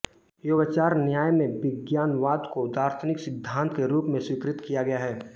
योगाचार न्याय में विज्ञानवाद को दार्शनिक सिद्धांत के रूप में स्वीकृत किया गया है